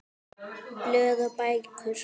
Blöð og bækur